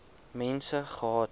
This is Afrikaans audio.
mense gehad